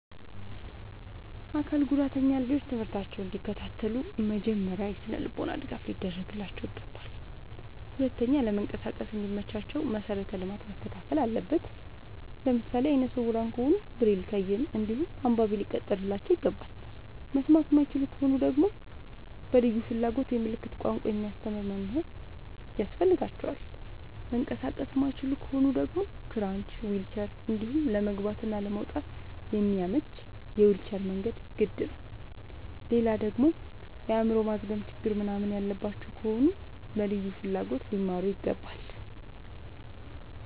አካል ጉዳተኛ ልጆች ትምህርታቸውን እንዲ ከታተሉ መጀመሪያ የስነልቦና ድገፍ ሊደረግላቸው ይገባል። ሁለተኛ ለመንቀሳቀስ እንዲ መቻቸው መሰረተ ልማት መስተካከል አለበት። ለምሳሌ አይነስውራ ከሆኑ ብሬል ከይን እንዲሁም አንባቢ ሊቀጠርላቸው ይገባል። መስማት የማይችሉ ከሆኑ ደግመሞ በልዩ ፍላጎት የምልክት ቋንቋ የሚያስተምር መምህር ያስፈልጋቸዋል። መንቀሳቀስ የማይችሉ ከሆኑ ደግሞ ክራች ዊልቸር እንዲሁም ለመግባት እና ለመውጣት የሚያመች የዊልቸር መንገድ ግድ ይላላል። ሌላደግሞ የአይምሮ ማዝገም ችግር ምንናምን ያለባቸው ከሆኑ በልዩ ፍላጎት ሊማሩ ይገባል።